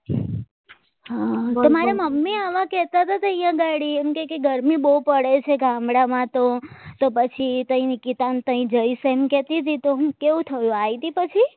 તમારે મમ્મી આવા કહેતા હતા કે ત્યાં ગાડી કે ગરમી બહુ પડે છે ગામડામાં તો તો પછી તૈયાર નિકિતા ને ત્યાં જઈશ એમ કેતીતી તો હું કેવું થયું આવી હતી પછી